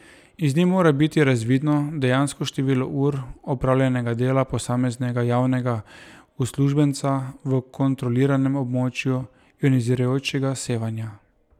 Iz nje mora biti razvidno dejansko število ur opravljenega dela posameznega javnega uslužbenca v kontroliranem območju ionizirajočega sevanja.